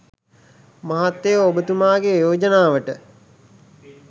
මහත්තයෝ ඔබතුමාගේ යෝජනාවට